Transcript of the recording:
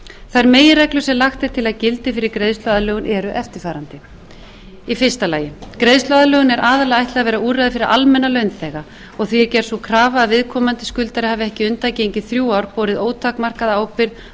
þær meginreglur sem lagt er til að gildi fyrir greiðsluaðlögun eru eftirfarandi fyrsta greiðsluaðlögun er aðallega ætlað að vera úrræði fyrir almenna launþega og því er gerð sú krafa að viðkomandi skuldari hafi ekki undangengin þrjú ár borið ótakmarkaða ábyrgð á